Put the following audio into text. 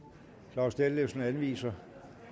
claus dethlefsen anviser